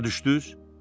Başa düşdünüz?